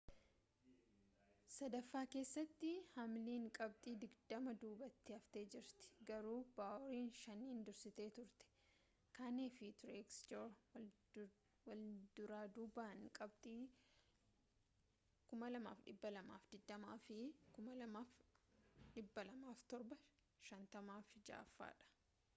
sadaffaa keessatti hamliin qabxii digdama duubatti haftee jirti garuu baaworiin shaniin dursitee turte kahne fi truex jr walduraaduubaan qabxii 2,220 fi 2,207 n shanaffaa fi jahaffaadha